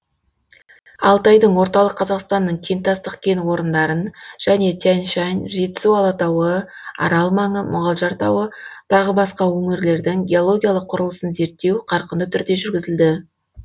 алтайдың орталық қазақстанның кентастық кен орындарын және тянь шань жетісу алатауы арал маңы мұғалжар тауы тағы басқа өңірлердің геологиялық құрылысын зерттеу қарқынды түрде жүргізілді